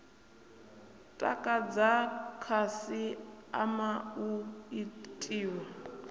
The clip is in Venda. takadza khasi ama u itiwa